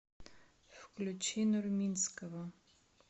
включи нурминского